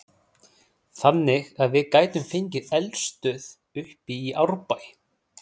Þannig að við gætum fengið eldstöð uppi í Árbæ?